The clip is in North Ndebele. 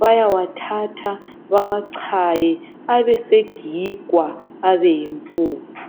Bayawathatha bawachaye, abesegigwa abe yimpuphu.